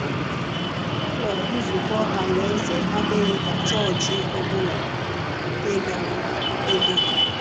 Ụlọ Nzukọ Alaeze adịghị ka chọọchị ọ bụla ị gara. ị gara.